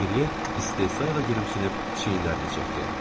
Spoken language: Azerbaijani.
Deqriye istehzayla gülümsünüb çiynlərini çəkdi.